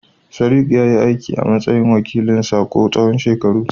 Sadiq ya yi aiki a matsayin wakilin a Sakkwato tsawon shekaru.